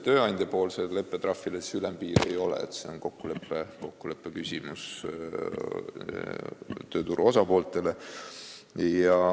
Tööandjale määrataval trahvil ülempiiri ei ole, see on tööturu osapoolte kokkuleppe küsimus.